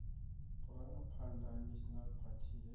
vhurangaphanḓa ha national party he